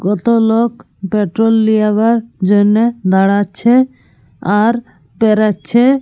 কত লোক পেট্রল লিয়েবার জন্যে দাঁড়াচ্ছে আর পেরোচ্ছে ।